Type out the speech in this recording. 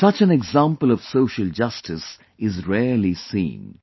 Such an example of social justice is rarely seen